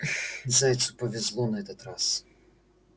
зайцу повезло на этот раз